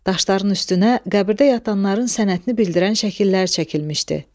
Daşların üstünə qəbirdə yatanların sənətini bildirən şəkillər çəkilmişdi.